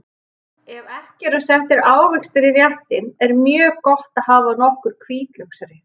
Ef ekki eru settir ávextir í réttinn er mjög gott að hafa nokkur hvítlauksrif.